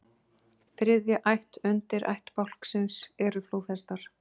Þriðja ætt undirættbálksins eru flóðhestar.